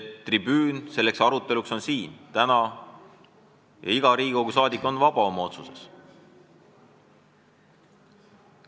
Tribüün selleks aruteluks on siin täna ja iga Riigikogu liige on oma otsuses vaba.